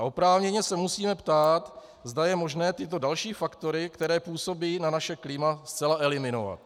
A oprávněně se musíme ptát, zda je možné tyto další faktory, které působí na naše klima, zcela eliminovat.